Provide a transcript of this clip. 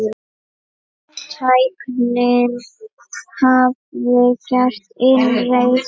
Tæknin hafði gert innreið sína.